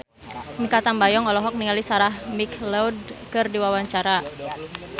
Mikha Tambayong olohok ningali Sarah McLeod keur diwawancara